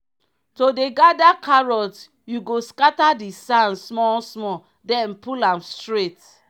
to dey gather carrot you go scatter the sand small small then pull am straight.